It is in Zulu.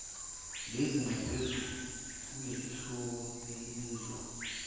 lezinxephezelo kulesahluko elibizwa